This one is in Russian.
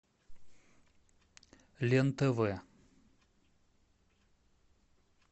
лен тв